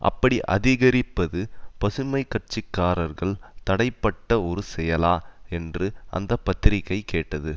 அப்படி அதிகரிப்பது பசுமை கட்சி காரர்கள் தடைப்பட்ட ஒரு செயலா என்று அந்த பத்திரிகை கேட்டது